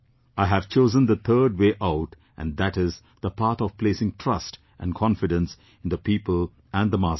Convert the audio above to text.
I have chosen the third way out and that is the path of placing trust and confidence in the people and the masses